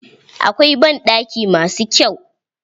Akwai banɗaki ma su kyau.